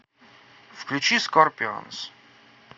включи скорпионс